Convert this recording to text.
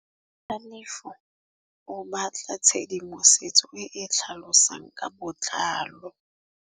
Tlhalefô o batla tshedimosetsô e e tlhalosang ka botlalô.